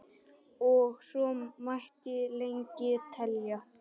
og svo mætti lengi telja.